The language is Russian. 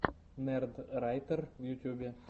нердрайтер в ютьюбе